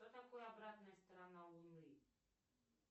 что такое обратная сторона луны